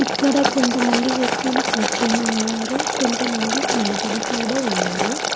ఇక్కడ కొంతమంది వ్యక్తులు కూర్చొని ఉన్నారు కొంతమంది నిలబడి కూడా ఉన్నారు.